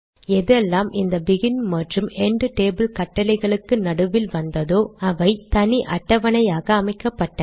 எதெல்லாம் இந்த பெகின் மற்றும் எண்ட் டேபிள் கட்டளைகளுக்கு நடுவே வந்ததோ அவை தனி அட்டவணையாக அமைக்கப்பட்டது